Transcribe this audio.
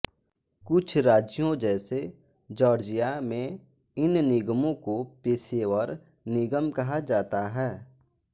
कुछ राज्यों जैसे जॉर्जिया में इन निगमों को पेशेवर निगम कहा जाता है